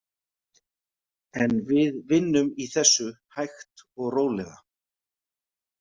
En við vinnum í þessu hægt og rólega.